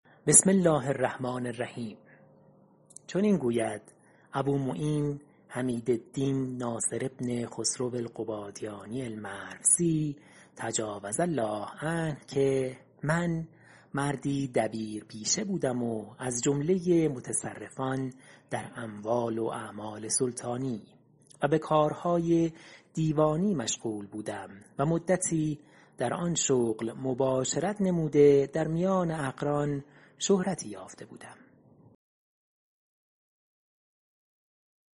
چنین گوید ابومعین حمیدالدین ناصر بن خسرو القبادینی المروزی تجاوز الله عنه که من مردی دبیرپیشه بودم و از جمله متصرفان در اموال و اعمال سلطانی و به کارهای دیوانی مشغول بودم و مدتی در آن شغل مباشرت نموده در میان اقران شهرتی یافته بودم